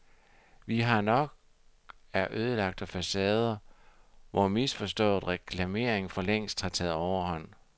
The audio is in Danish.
Vi har nok af ødelagte facader, hvor misforstået reklamering for længst har taget overhånd.